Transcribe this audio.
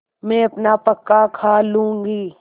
मैं अपना पकाखा लूँगी